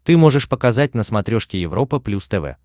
ты можешь показать на смотрешке европа плюс тв